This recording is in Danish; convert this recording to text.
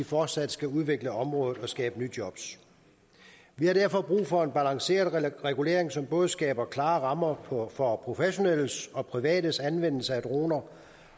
fortsat skal udvikle området og skabe nye jobs vi har derfor brug for en balanceret regulering som både skaber klare rammer for professionelles og privates anvendelse af droner